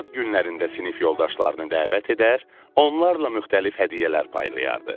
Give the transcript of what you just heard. Ad günlərində sinif yoldaşlarını dəvət edər, onlarla müxtəlif hədiyyələr paylayardı.